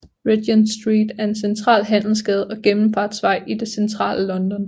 Regent Street er en central handelsgade og gennemfartsvej i det centrale London